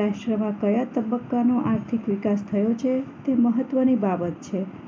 રાષ્ટ્ર માં કયા તબક્કાનો આર્થિક વિકાસ થયો છે તે મહત્વની બાબત છે